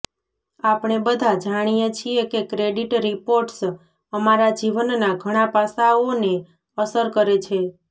આપણે બધા જાણીએ છીએ કે ક્રેડિટ રિપોર્ટ્સ અમારા જીવનના ઘણા પાસાઓને અસર કરે છે